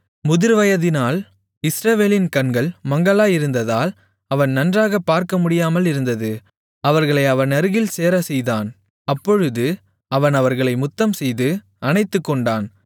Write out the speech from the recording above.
முதிர்வயதினால் இஸ்ரவேலின் கண்கள் மங்கலாயிருந்தால் அவன் நன்றாகப் பார்க்கமுடியாமலிருந்தது அவர்களை அவனருகில் சேரச்செய்தான் அப்பொழுது அவன் அவர்களை முத்தம்செய்து அணைத்துக்கொண்டான்